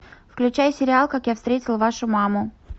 включай сериал как я встретил вашу маму